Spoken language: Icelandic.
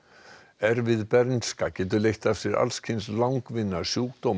erfið bernska getur leitt af sér alls kyns langvinna sjúkdóma